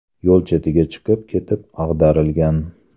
yo‘l chetiga chiqib ketib ag‘darilgan.